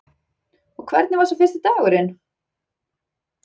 Og hvernig var svo fyrsti dagurinn?